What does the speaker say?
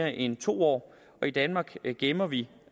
end to år i danmark gemmer vi